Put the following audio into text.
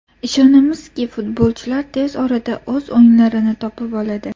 Ishonamizki, futbolchilar tez orada o‘z o‘yinlarini topib oladi.